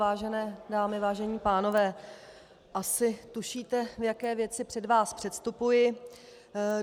Vážené dámy, vážení pánové, asi tušíte, v jaké věci před vás předstupuji.